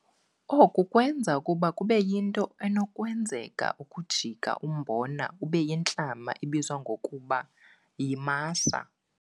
Oku kwenza ukuba kube yinto enokwenzeka ukujika umbona ube yintlama ebizwa ngokuba yimasa.